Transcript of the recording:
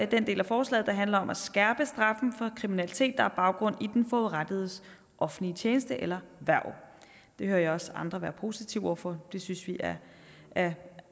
den del af forslaget der handler om at skærpe straffen for kriminalitet der har baggrund i den forurettedes offentlige tjeneste eller hverv det hører jeg også andre være positive over for det synes vi er